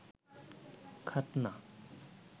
খাতনা